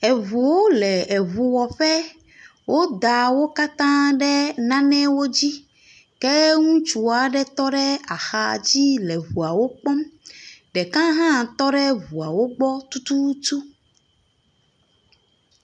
Eŋuwo le eŋuwɔƒe. woda wo katã ɖe nanewo dzi ke ŋutsu aɖe tɔ ɖe axa dzi le ŋuawo kpɔm. Ɖeka hã tɔ ɖe eŋuawo gbɔ tututu.